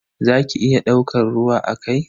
Za ki iya daukan ruwa a kai?